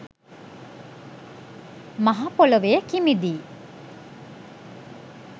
මහ පොළොවේ කිමිදී